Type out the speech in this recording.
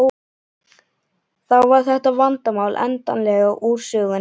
Þá var þetta vandamál endanlega úr sögunni.